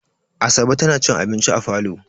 Asabe tana cin abinci a falo.